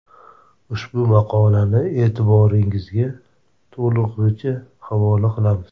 Ushbu maqolani e’tiboringizga to‘lig‘icha havola qilamiz.